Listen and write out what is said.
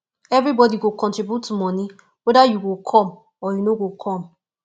everybodi go contribute moni weda you go come or you no go come